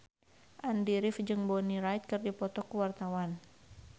Andy rif jeung Bonnie Wright keur dipoto ku wartawan